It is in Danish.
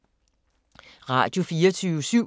Radio24syv